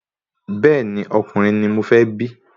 Bẹ́ẹ̀ni, ọkùnrin ni mọ fẹ́ bí